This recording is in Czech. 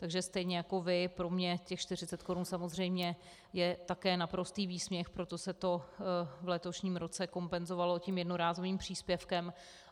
Takže stejně jako vy, pro mě těch 40 korun samozřejmě je také naprostý výsměch, proto se to v letošním roce kompenzovalo tím jednorázovým příspěvkem.